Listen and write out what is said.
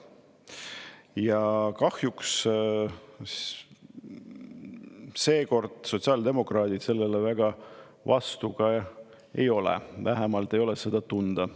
Ja kahjuks seekord sotsiaaldemokraadid sellele väga vastu ka ei ole, vähemalt ei ole seda tunda.